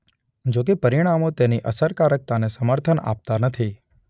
જો કે પરિણામો તેની અસકારકતાને સમર્થન આપતા નથી.